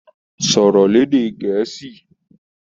Sọ̀rọ̀ lédè Gẹ̀ẹ́sì!